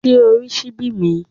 Ṣé o rí ṣíbí mi?